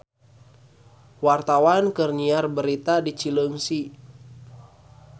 Wartawan keur nyiar berita di Cileungsi